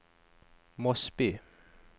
Mosby